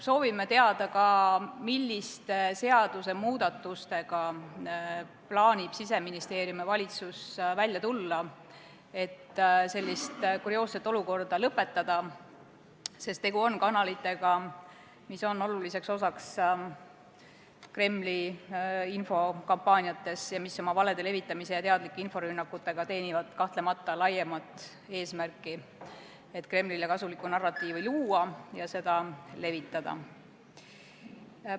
Soovime teada ka seda, milliste seadusemuudatustega plaanivad Siseministeerium ja valitsus välja tulla, et selline kurioosne olukord lõpetada, sest tegu on kanalitega, mis on oluliseks osaks Kremli infokampaaniates ning mis oma valedega ja teadlike inforünnakutega teenivad kahtlemata laiemat eesmärki luua Kremlile kasulikku narratiivi ja seda levitada.